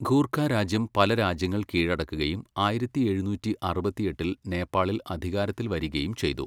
ഗൂർഖ രാജ്യം പല രാജ്യങ്ങളൾ കീഴടക്കുകയും ആയിരത്തിയെഴുന്നൂറ്റി അറുപത്തിയെട്ടിലൽ നേപ്പാളിൽ അധികാരത്തിൽ വരികയും ചെയ്തു.